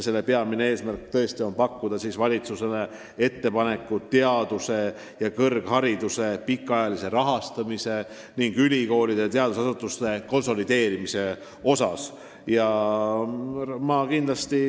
Peamine eesmärk on teha valitsusele ettepanekuid teaduse ja kõrghariduse pikaajalise rahastamise ning ülikoolide ja teadusasutuste tugiteenuste konsolideerimise kohta.